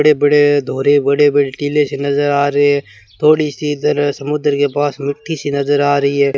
बड़े-बड़े दोहरे बड़े-बड़े टीले से नजर आ रहे हैं थोड़ी सी जरा समुद्र के पास मिट्टी सी नजर आ रही है।